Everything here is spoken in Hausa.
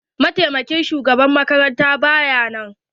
mataimakin shugaban makaranta ba ya nan.